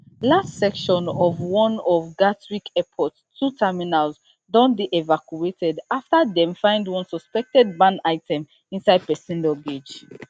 large section of one of gatwick airport two terminals don dey evacuated after dem find one suspected banned item inside pesin luggage